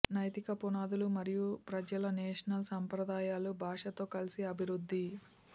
నైతిక పునాదులు మరియు ప్రజల నేషనల్ సంప్రదాయాలు భాషతో కలిసి అభివృద్ధి